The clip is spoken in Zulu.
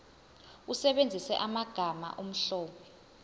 usebenzise amagama omlobi